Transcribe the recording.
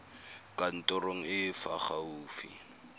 kantorong e e fa gaufi